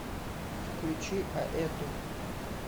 включи аэту